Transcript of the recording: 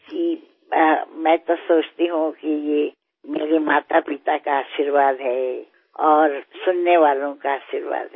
જી હું તો વિચારું છું કે મારાં માતાપિતાના આશીર્વાદ છે અને શ્રોતાઓના આશીર્વાદ છે